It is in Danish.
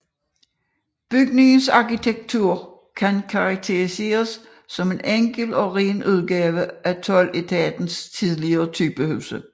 Bygningens arkitektur kan karakteriseres som en enkel og ren udgave af toldetatens tidlige typehuse